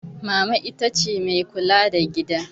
Mama ita ce mai kula da gida.